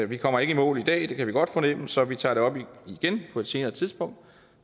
vi kommer ikke i mål i dag det kan vi godt fornemme så vi tager det op igen på et senere tidspunkt